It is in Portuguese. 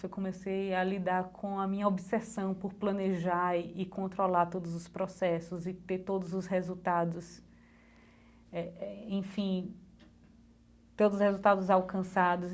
Que eu comecei a lidar com a minha obsessão por planejar e e controlar todos os processos e ter todos os resultados eh, enfim, todos os resultados alcançados.